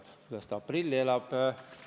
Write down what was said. Kuidas ta aprilli üle elab?